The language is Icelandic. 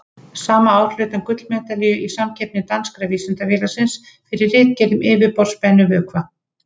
Sama ár hlaut hann gullmedalíu í samkeppni Danska vísindafélagsins, fyrir ritgerð um yfirborðsspennu vökva.